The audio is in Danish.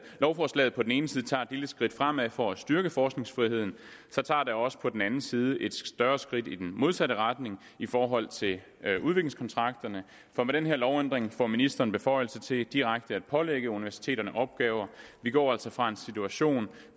lovforslaget på den ene side tager et lille skridt fremad for at styrke forskningsfriheden tager det også på den anden side et større skridt i den modsatte retning i forhold til udviklingskontrakterne for med den her lovændring får ministeren beføjelse til direkte at pålægge universiteterne opgaver vi går altså fra en situation